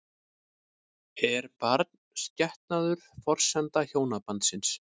Er barnsgetnaður forsenda hjónabandsins?